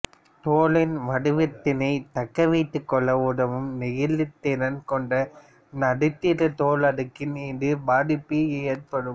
தோலின் வடிவத்தினைத் தக்கவைத்துக்கொள்ள உதவும் நெகிழ்திறன் கொண்ட நடுத்தர தோல் அடுக்கில் இதன் பாதிப்பு ஏற்படும்